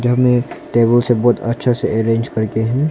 हमने टेबल सब बहुत अच्छे से अरेंज कर के है।